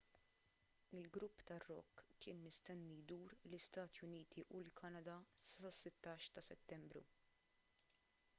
il-grupp tar-rock kien mistenni jdur l-istati uniti u l-kanada sas-16 ta' settembru